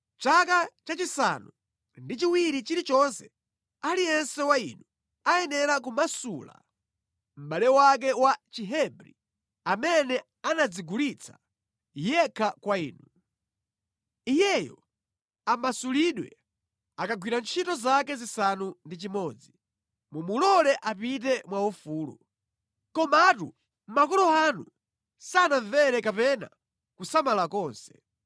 ‘Chaka chachisanu ndi chiwiri chilichonse aliyense wa inu ayenera kumasula mʼbale wake wa Chihebri amene anadzigulitsa yekha kwa inuyo. Iyeyo amasulidwe akagwira ntchito zaka zisanu ndi chimodzi, mumulole apite mwaufulu.’ Komatu makolo anu sanandimvere kapena kusamala konse.